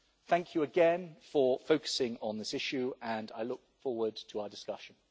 Thank you again for focusing on this issue and I look forward to our discussion.